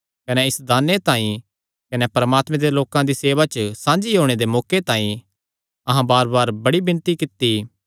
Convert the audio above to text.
कने इस दाने तांई कने परमात्मे दे लोकां दी सेवा च साझी होणे दे मौके तांई अहां बारबार बड़ी विणती कित्ती